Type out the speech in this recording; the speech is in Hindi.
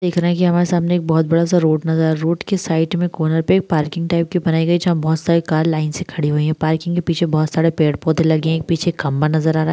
देख रहे हैं की हमारे सामने एक बहोत बड़ा सा रोड नजर रोड के साइड में कॉर्नर पे एक पार्किंग टाइप की बनाई गई जहाँ बहोत सारी कार लाइन से खड़ी हुई हैं पार्किंग के पीछे बहोत सारे पेड़-पौधे लगे हैं एक पीछे खंभा नजर आ रहा है।